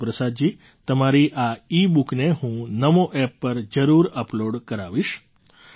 ગુરુપ્રસાદજી તમારી આ ઇબુકને હું NamoApp પર જરૂર અપલૉડ કરાવીશ